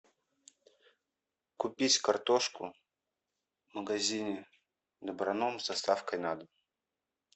купить картошку в магазине доброном с доставкой на дом